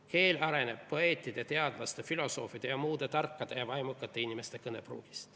Keel areneb poeetide, teadlaste, filosoofide ja muude tarkade ja vaimukate inimeste kõnepruugis.